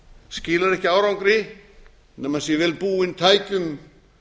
skilar ekki árangri nema hann sé vel búinn tækjum